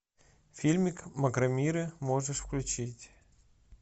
фильмик макромиры можешь включить